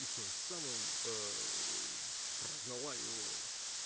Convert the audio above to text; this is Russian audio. и тем самым прогнала его